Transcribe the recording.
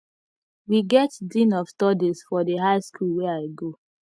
we get dean of studies for di high skool wey i go